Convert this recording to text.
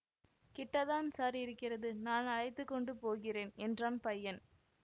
கிட்டத்தான் sir இருக்கிறது நான் அழைத்து கொண்டு போகிறேன் என்றான் பையன்